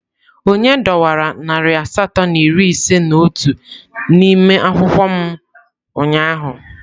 Onye dọwara narị asatọ na iri ise na otu n'ime akwụkwọ m ụnyaahụ?